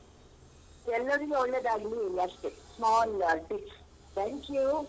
ಎಲ್ಲರಿಗೂ ಒಳ್ಳೇದಾಗ್ಲಿ ಅಷ್ಟೇ small tips thank you.